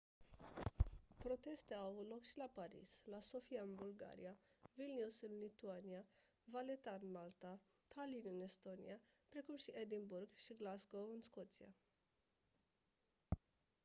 proteste au avut loc și la paris la sofia în bulgaria vilnius în lituania valetta în malta tallinn în estonia precum și edinburgh și glasgow în scoția